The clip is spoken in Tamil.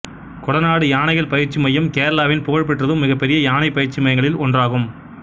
கொடநாடு யானைகள் பயிற்சி மையம் கேரளாவின் புகழ்பெற்றதும் மிகப்பெரிய யானை பயிற்சி மையங்களில் ஒன்றாகும்